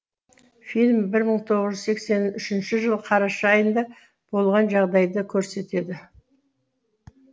фильм бір мың тоғыз жүз сексен үшінші жылы қараша айында болған жағдайды көрсетеді